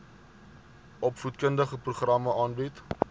opvoedkundige programme aanbied